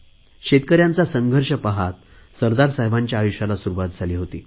शेतकऱ्यांचा संघर्ष पाहत सरदार साहेबांच्या आयुष्याला सुरुवात झाली होती